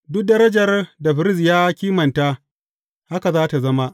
Duk darajar da firist ya kimanta, haka za tă zama.